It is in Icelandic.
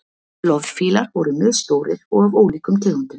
loðfílar voru misstórir og af ólíkum tegundum